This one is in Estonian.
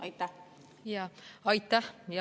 Aitäh!